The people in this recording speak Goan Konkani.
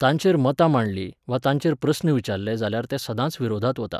तांचेर मतां मांडलीं, वा तांचेर प्रस्न विचारले जाल्यार तें सदांच विरोधांत वता.